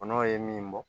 Kɔnɔw ye min bɔ